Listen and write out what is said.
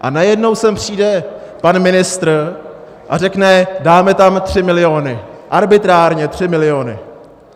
A najednou sem přijde pan ministr a řekne: dáme tam 3 miliony, arbitrárně 3 miliony.